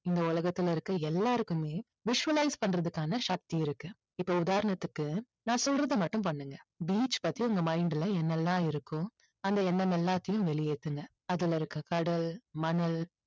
இந்த உலகத்துல இருக்க எல்லாருக்குமே visualize பண்றதுக்கான சக்தி இருக்கு. இப்போ உதாரணத்துக்கு நான் சொல்றதை மட்டும் பண்ணுங்க beach பத்தி உங்க mind ல என்ன எல்லாம் இருக்கோ அந்த எண்ணம் எல்லாத்தையும் வெளியேத்துங்க. அதுல இருக்க கடல், மணல்